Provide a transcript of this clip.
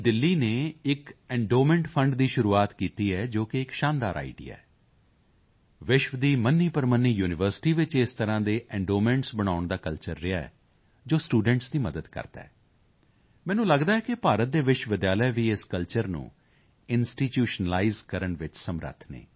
ਦਿੱਲੀ ਨੇ ਇੱਕ endowment fund ਦੀ ਸ਼ੁਰੂਆਤ ਕੀਤੀ ਹੈ ਜੋ ਕਿ ਇੱਕ ਸ਼ਾਨਦਾਰ ਆਈਡੀਆ ਹੈ ਵਿਸ਼ਵ ਦੀ ਮੰਨੀਪ੍ਰਮੰਨੀ ਯੂਨੀਵਰਸਿਟੀ ਵਿੱਚ ਇਸ ਤਰ੍ਹਾਂ ਦੇ ਐਂਡੋਮੈਂਟਸ ਬਣਾਉਣ ਦਾ ਕਲਚਰ ਰਿਹਾ ਹੈ ਜੋ ਸਟੂਡੈਂਟਸ ਦੀ ਮਦਦ ਕਰਦਾ ਹੈ ਮੈਨੂੰ ਲਗਦਾ ਹੈ ਕਿ ਭਾਰਤ ਦੇ ਵਿਸ਼ਵ ਵਿਦਿਆਲਾ ਵੀ ਇਸ ਕਲਚਰ ਨੂੰ ਇੰਸਟੀਟਿਊਸ਼ਨਲਾਈਜ਼ ਕਰਨ ਵਿੱਚ ਸਮਰੱਥ ਹਨ